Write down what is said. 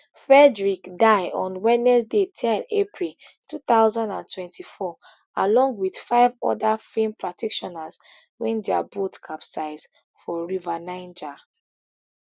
frederick die on wednesday ten april two thousand and twenty-four along with five oda film practitioners wen dia boat capsize for river niger